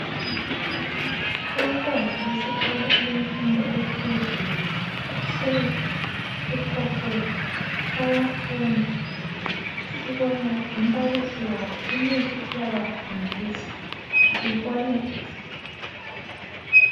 Abantwana besikolo abefundo ephezulu bahlezi esikolweni bayafunda sibona lombalisi wabo umile uyabafundisa